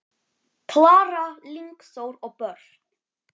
Klara, Lingþór og börn.